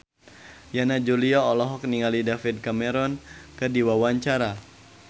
Yana Julio olohok ningali David Cameron keur diwawancara